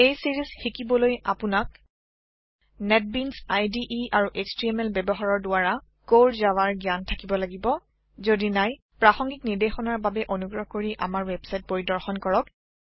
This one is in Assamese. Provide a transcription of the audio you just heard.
এই ছিৰিজ শিকিবলৈ আপোনাক নেটবিনছ ইদে আৰু এছটিএমএল ব্যৱহাৰ কৰি কোৰ জাভা জ্ঞান থাকিব লাগিব যডি নাই প্ৰাসংগিক নিৰ্দেশনাৰ বাবে অনুগ্ৰহ কৰি আমাৰ ৱেবচাইট পৰিদৰ্শন কৰক